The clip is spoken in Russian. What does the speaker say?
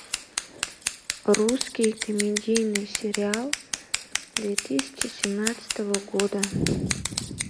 русский комедийный сериал две тысячи семнадцатого года